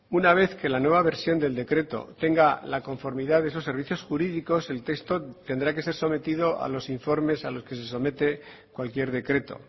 una vez que la nueva versión del decreto tenga la conformidad de esos servicios jurídicos el texto tendrá que ser sometido a los informes a los que se somete cualquier decreto